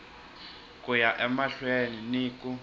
ku ya emahlweni ni ku